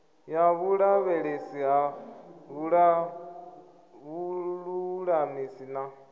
ya vhulavhelesi ha vhululamisi na